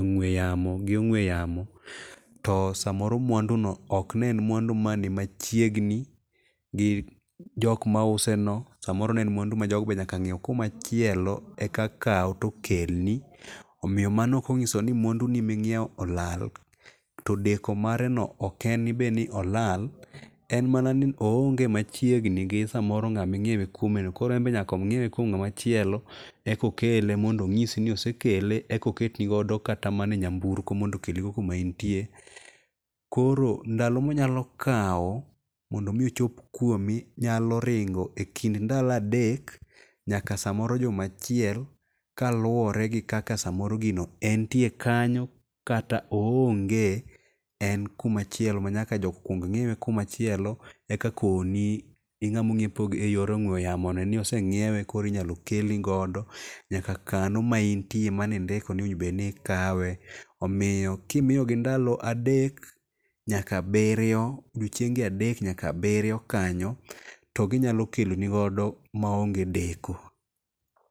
ong'weyamo gi ong'we yamo. To samoro mwandu no ok ne en mwandu mani machiegni gi jok mause no. Samoro ne en mwandu ma jogo be nyaka ng'iew kumachielo eka kaw to kelni. Omiyo mano ok onyiso ni mwandu ni ming'iew olal. To deko mare no ok en be ni olal. En mana ni o onge machiegni gi samoro ng'aming'iewe kuimeno. Koro enbe nyaka ong'iewe kuom ng'amachielo. Eko kele mondo onyisi ni osekele ekoketinogo kata mana e nyamburko mondo okelnigo kumaintie. Koro ndalo monyalo kawo mondo mi ochop kuomi nyalo ringo e kind ndalo adek nyaka samoro juma achiel kaluwore gi kaka samoro gino entie kanyo kata o onge. En kumachielo manyaka jogo kuong ng'iewe kuma chielo e ka koni ing'ama ong'iepo e yor ong'we yamo ni ose ng'iewe koro inyalo kelnigodo nyaka kano ma intie maneindiki ni iwinj bed ni ikawe. Omiyo kimiyogi ngalo adek nyaka abiryo odiochienge adek nyaka abiryo kanyo to ginyalo kelonigodo ma onge deko.